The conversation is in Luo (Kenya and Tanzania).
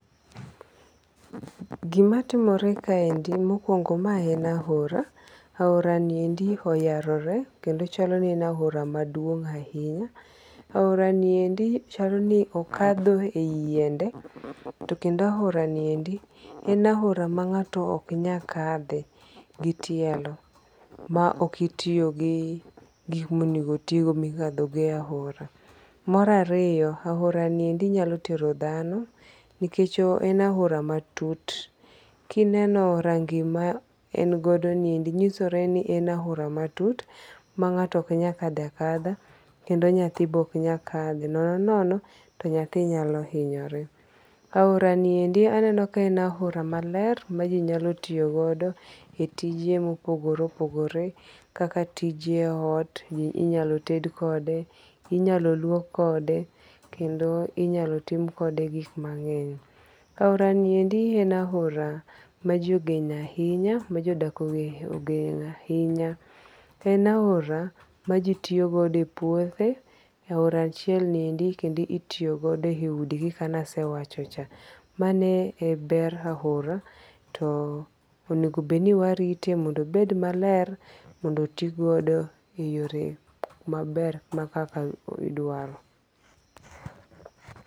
Gima timore kaendi mokwongo ma en aora. Aora ni endi oyarore kendo chalo ni en aora ma duong' ahinya. Aora ni endi chal ni okadho e yi yiende to kendo aora ni endi en aora ma ng'ato ok nyal kadhe gi tielo mak ok itiyo gi gik monego otigo migado go aora. Mar ariyo aora niendi nyalo tero dhano nikech en aora matut. Kineno rangi ma engodo ni endi nyoso ni en aora matut ma ng'ato ok nyal kadhoe akadha. Kendo nyathi bende ok nyal kadho to nono nono to nyathi nyalo hinyore. Aora niendi aneno ka en aora maler ma ji nyalo tiyogodo e tije mopogore opogore kaka tije ot. Inyalo ted kode, inyalo luok kode. Kendo inyalo tim kode gik mang'eny. Aora ni endi en aora ma ji ogeno ahinya, mmajodak ogeno ahinya. To en aora maji tioyogodo e puothe. Aora achiel ni endi kendo itiyogodo e udi gi kaka ne asewacho cha. Mano e ber aora to onego obed ni warite mondo obed maler mondo tigodo e yore maber ma kaka idwaro.